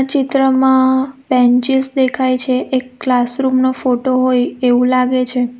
ચિત્રમાં બેન્ચીસ દેખાય છે એક ક્લાસરૂમ નો ફોટો હોય એવું લાગે છે.